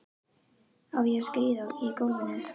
Á ég að skríða í gólfinu?